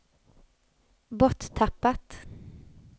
borttappat